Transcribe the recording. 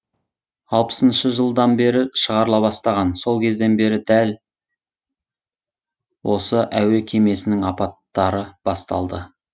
алпысыншы жылдан бері шығарыла бастаған сол кезден бері дәл осы әуе кемесінің апаттары басталды